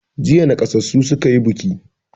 Jiya naƙasassu suka yi buki.